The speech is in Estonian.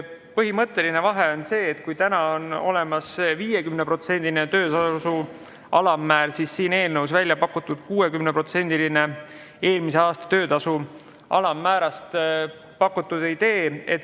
Põhimõtteline vahe on see, et kui täna et kehtib töötu toetuse puhul määr 50% alampalgastkui, siis siin eelnõus on välja pakutud idee 60% eelmise aasta töötasu alammäärast.